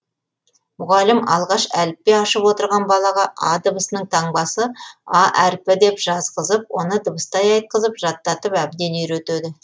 мұғалім алғаш әліппе ашып отырған балаға а дыбысының таңбасы а әріпі деп жазғызып оны дыбыстай айтқызып жаттатып әбден үйретеді